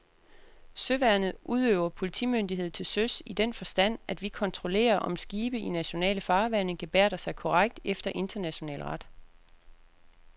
Søværnet udøver politimyndighed til søs i den forstand, at vi kontrollerer, om skibe i nationale farvande gebærder sig korrekt efter international ret.